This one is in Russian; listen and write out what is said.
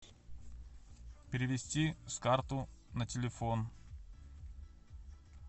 перевести с карты на телефон